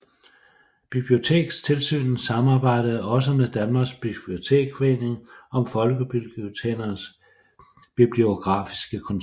Bibliotekstilsynet samarbejdede også med Danmarks Biblioteksforening om Folkebibliotekernes Bibliografiske Kontor